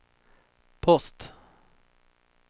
post